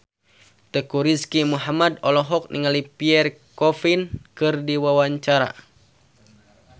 Teuku Rizky Muhammad olohok ningali Pierre Coffin keur diwawancara